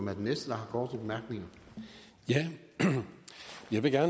jeg venstre må få